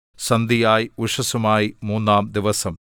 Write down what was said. സന്ധ്യയായി ഉഷസ്സുമായി മൂന്നാംദിവസം